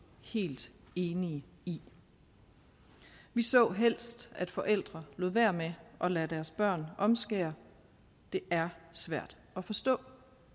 helt enig i vi så helst at forældre lod være med at lade deres børn omskære det er svært at forstå